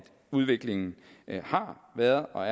udviklingen har været og